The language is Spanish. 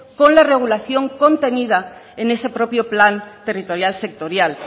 con la regulación contenida en ese propio plan territorial sectorial